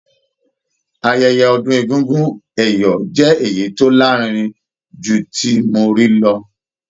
Ayẹyẹ ọdún egúngún ẹ̀yọ̀ jẹ́ èyí tó lárinrin jù tí mo ti rí lọ.